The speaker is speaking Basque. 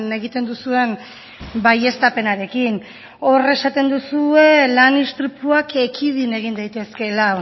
egiten duzuen baieztapenarekin hor esaten duzue lan istripuak ekidin egin daitezkeela